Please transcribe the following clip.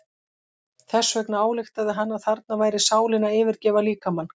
Þess vegna ályktaði hann að þarna væri sálin að yfirgefa líkamann.